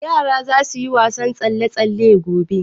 Yara za su yi wasan tsalle-tsalle gobe.